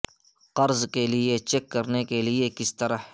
قرض کے لئے چیک کرنے کے لئے کس طرح